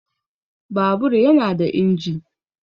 Babur yana da inji